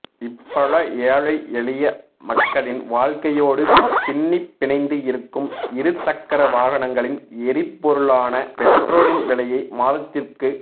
இப்பழ ஏழை எளிய மக்களின் வாழ்க்கையோடு பின்னிப் பிணைந்து இருக்கும் இரு சக்கர வாகனங்களின் எரிபொருளான பெட்ரோலின் விலையை மாதத்திற்கு